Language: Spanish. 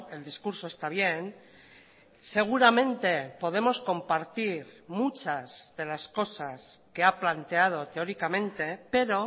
el discurso está bien seguramente podemos compartir muchas de las cosas que ha planteado teóricamente pero